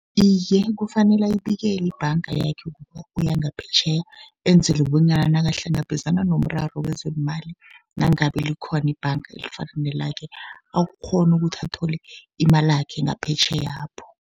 Iye, kufanele ayibikele ibhanga yakhe kuthi uya ngaphetjheya, enzele bonyana nakahlangabezana nomraro wezeemali. Nangabe likhona ibhanga elifana nelakhe, akghone ukuthi athole imalakhe ngaphetjheyapho.